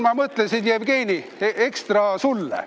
Ma mõtlesin, Jevgeni, ekstra sulle.